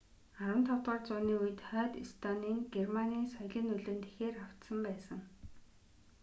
15-р үууны үед хойд эстоны нь германы соёлын нөлөөнд ихээр автсан байсан